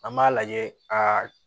An b'a lajɛ aa